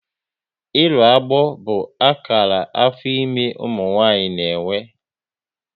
Ịrụ agbọ bụ akara afọ ime ụmụ nwaanyị na-enwe